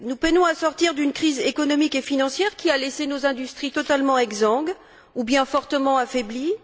Nous peinons à sortir d'une crise économique et financière qui a laissé nos industries totalement exsangues ou bien fortement affaiblies.